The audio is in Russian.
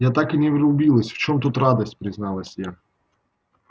я так и не врубилась в чем тут радость призналась я